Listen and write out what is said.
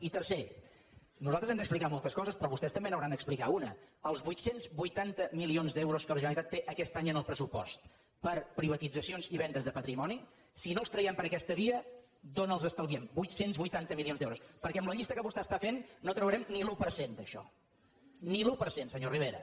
i tercer nosaltres hem d’explicar moltes coses però vostès també n’hauran d’explicar una els vuit cents i vuitanta milions d’euros que la generalitat té aquest any en el pressupost per a privatitzacions i vendes de patrimoni si no els traiem per aquesta via d’on els estalviem vuit cents i vuitanta milions d’euros perquè amb la llista que vostè està fent no traurem ni l’un per cent d’això ni l’un per cent senyor rivera